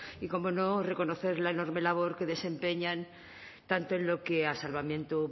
y cómo no reconocer la enorme labor que desempeñan tanto en lo que a salvamento